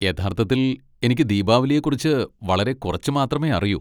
യഥാർത്ഥത്തിൽ, എനിക്ക് ദീപാവലിയെക്കുറിച്ച് വളരെ കുറച്ച് മാത്രമേ അറിയൂ.